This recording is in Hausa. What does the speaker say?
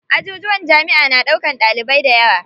Ajujuwan jamiʼa na ɗaukan ɗalibai dayawa.